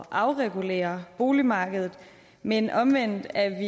at afregulere boligmarkedet men omvendt er